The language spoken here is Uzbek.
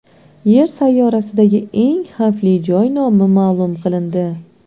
Yer sayyorasidagi eng xavfli joy nomi ma’lum qilindi.